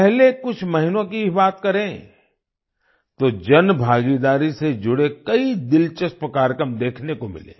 पहले कुछ महीनों की ही बात करें तो जनभागीदारी से जुड़े कई दिलचस्प कार्यक्रम देखने को मिले